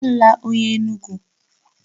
Alụla onye Enugwu!